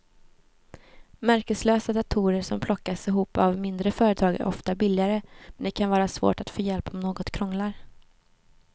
Märkeslösa datorer som plockas ihop av mindre företag är ofta billigare men det kan vara svårt att få hjälp om något krånglar.